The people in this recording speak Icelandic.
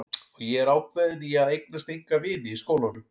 Og ég er ákveðin í að eignast enga vini í skólanum.